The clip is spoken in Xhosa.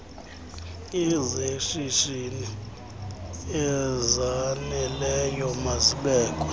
azeshishini ezaneleyo mazibekwe